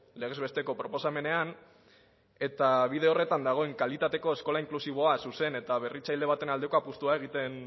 legez besteko proposamenean eta bide horretan dagoen kalitatezko eskola inklusiboa zuzen eta berritzaile baten aldeko apustua egiten